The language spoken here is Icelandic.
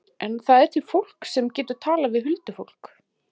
En það er til fólk sem getur talað við huldufólk.